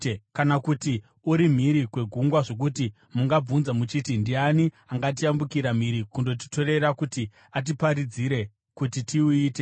Kana kuti uri mhiri kwegungwa zvokuti mungabvunza muchiti, “Ndiani angatiyambukira mhiri kundotitorera kuti atiparidzire kuti tiuite.”